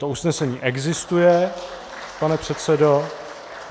To usnesení existuje, pane předsedo.